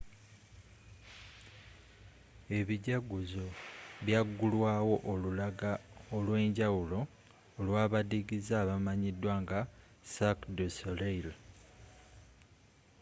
ebijaguzo byagulwaawo olulaga olwenjawulo olwabadiigize abamanyidwa nga cirque du soleil